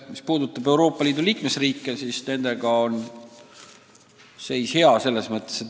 Mis puudutab Euroopa Liidu liikmesriike, siis nende seis on hea.